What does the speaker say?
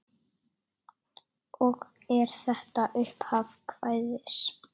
Og er þetta upphaf kvæðis